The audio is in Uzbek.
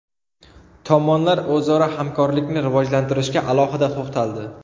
Tomonlar o‘zaro hamkorlikni rivojlantirishga alohida to‘xtaldi.